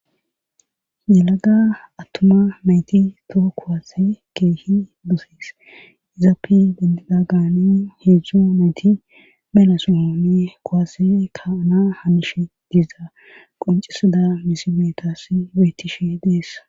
Yelada attuma mayti too kowase keehi duses izaappi bendida gaani heedzjzo nayti belasohone kuwase kaanaa hamishe diiza qoncisida misimetas weytishe deessa..